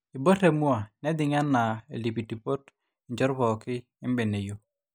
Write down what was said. eibor temua nejing enaa iltipitipot injot pooki embeneyio